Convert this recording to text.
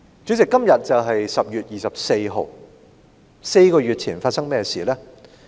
主席，今天是10月24日，香港在4個月前發生了甚麼事呢？